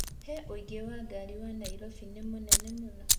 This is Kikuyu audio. he ũingĩ wa ngari wa Nairobi nĩ mũnene mũno